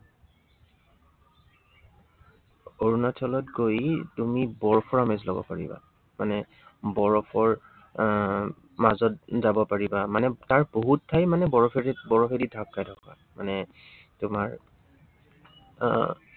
অৰুণাচলত গৈ তুমি বৰফ permit লব পাৰিবা। মানে বৰফৰ আহ মাজত যাব পাৰিবা। মানে তাৰ বহুত ঠাই মানে বৰফে দি ঢাক খাই থাকে। মানে তোমাৰ আহ